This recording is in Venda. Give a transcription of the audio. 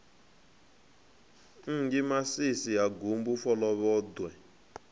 enzhe masisi ha gumbu folovhoḓwe